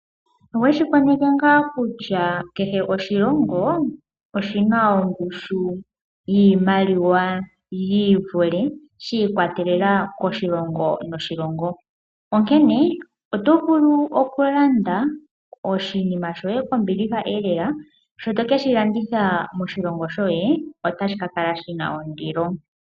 Oweshi koneke ngaa kutya kehe oshilongo oshina ongushu yiimaliwa yiivule? Shi ikwatelela koshilongo noshilongo. Onkene oto vulu oku landa oshinima shoye kombiliha elela, shoto keshi landitha moshilongo shoye otashi kakala shina ondilo.